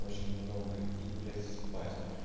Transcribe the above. очень много и блять спать